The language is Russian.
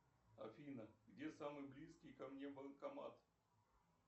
афина где самый близкий ко мне банкомат